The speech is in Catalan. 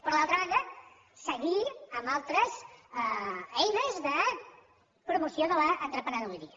però d’altra banda seguir amb altres eines de promoció de l’emprenedoria